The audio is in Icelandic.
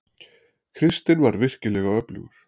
Kristinn var virkilega öflugur.